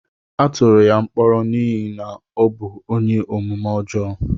Atụrụ ya mkpọrọ n'ihi na ọ bụ ónyé omume ọjọọ